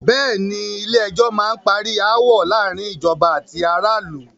Bẹ̀ẹ́ni, Ilé ẹjọ́ má n parí aáwọ̀ láàárín ìjọba àti ará ìlú.